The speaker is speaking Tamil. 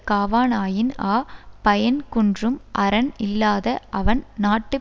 காவானாயின் ஆ பயன் குன்றும் அறன் இல்லாத அவன் நாட்டுப்